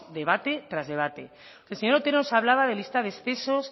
debate tras debate entonces el señor otero nos hablaba de lista de excesos